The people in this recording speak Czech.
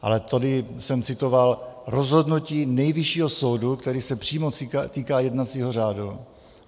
Ale tady jsem citoval rozhodnutí Nejvyššího soudu, které se přímo týká jednacího řádu.